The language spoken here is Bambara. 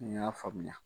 N y'a faamuya